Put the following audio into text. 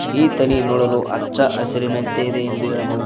ಈ ತಳಿ ನೋಡಲು ಅಚ್ಚ ಹಸಿರಿನಂತಿದೆ ಎಂದು ಹೇಳಬಹುದು.